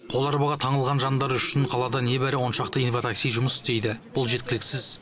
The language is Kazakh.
қол арбаға таңылған жандар үшін қалада небәрі он шақты инватакси жұмыс істейді бұл жеткіліксіз